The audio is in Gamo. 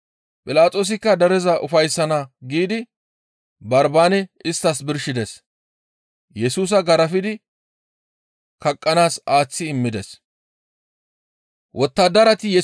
Philaxoosikka dereza ufayssana giidi Barbaane isttas birshides. Yesusa garafidi kaqqanaas aaththi immides.